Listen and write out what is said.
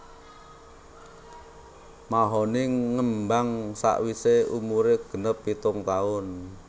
Mahoni ngembang sawisé umuré ganep pitung taun